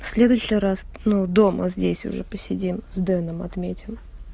в следующий раз ну дома здесь уже посидим с дэном отметил